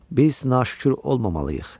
Biz naşükür olmamalıyıq.